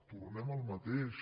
tornem al mateix